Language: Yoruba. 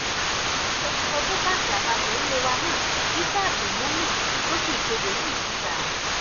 agbẹnusọ fún báǹkì àpapọ ilé wa náà isa abdulmumin ló fi ìkéde yìí síta